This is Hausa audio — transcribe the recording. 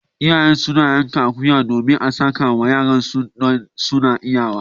Iyaye suna yanka akuya domin a sakawa yaron suna idan suna iyawa.